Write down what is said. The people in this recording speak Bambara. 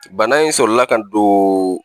Bana in sɔrɔ la ka don